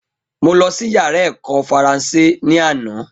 Mo lọsí yàrá èkó faransé ní àná